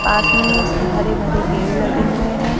पास में ही उसके हरे भरे पेड़ लगे हुए हैं।